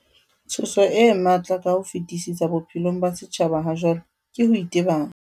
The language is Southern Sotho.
Tshoso e matla ka ho fetisisa bophelong ba setjhaba hajwale ke ho itebala.